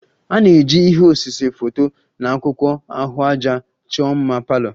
A na-eji ihe osise, foto na akwụkwọ ahụaja chọọ mma palour